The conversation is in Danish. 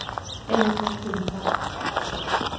A/S Ringkjøbing Bank